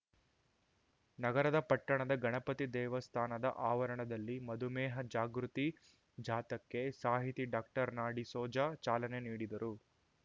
ನಗರದ ಪಟ್ಟಣದ ಗಣಪತಿ ದೇವಸ್ಥಾನದ ಆವರಣದಲ್ಲಿ ಮಧುಮೇಹ ಜಾಗೃತಿ ಜಾಥಾಕ್ಕೆ ಸಾಹಿತಿ ಡಾಕ್ಟರ್ ನಾಡಿಸೋಜ ಚಾಲನೆ ನೀಡಿದರು